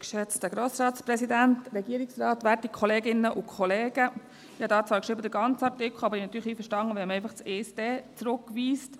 Ich habe hier zwar geschrieben «den ganzen Artikel», aber ich bin natürlich einverstanden, wenn man einfach den Absatz 1 zurückweist.